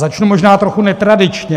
Začnu možná trochu netradičně.